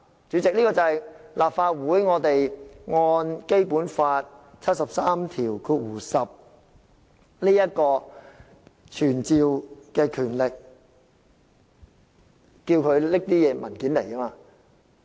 主席，這正是《基本法》第七十三條第十項賦予立法會傳召的權力，可要求署長帶同文件到立法會席前。